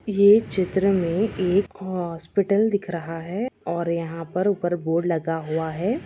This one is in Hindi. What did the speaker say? यह चित्र मे एक हॉस्पिटल दिख रहा है और यहाँ पर ऊपर बोर्ड लगा हुआ है।